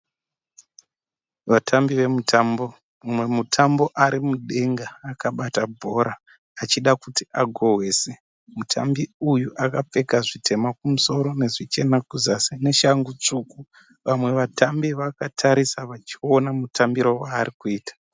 Vatambi vemutambo mumwe mutambi ari mudenga achida kubata bhora achita kuti agohwese, mutambi uyu akapfeka zvitema kumusoro, nezvichena kuzasi, neshangu tsvuku. Vamwe vatambi vakatarisa vachiona mutambiro waari kuita.